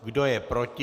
Kdo je proti?